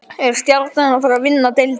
Er Stjarnan að fara að vinna deildina?